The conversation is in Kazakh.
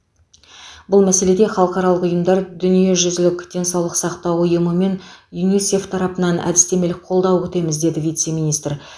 бұл мәселеде халықаралық ұйымдар дүниежүзілік денсаулық сақтау ұйымы мен юнисеф тарапынан әдістемелік қолдау күтеміз деді вице министр